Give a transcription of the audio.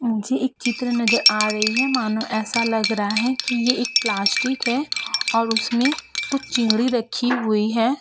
मुझे एक चित्र नजर आ रही है मानो ऐसा लग रहा है कि ये एक प्लास्टिक है और उसमें कुछ चिंगड़ी रखी हुई है।